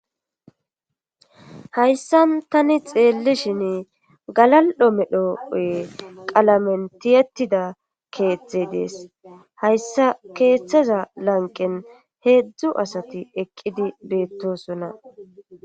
Hayssan tani xeellishin galal'o medhooye qalamen tiyetida keeththey dees hayssa keeththeza lanqen heedzdzu asati eqqidi beettosonna.